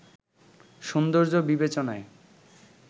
সৌন্দর্য বিবেচনায়